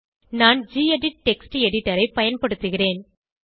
நான் gedit text எடிட்டரை பயன்படுத்துகிறேன்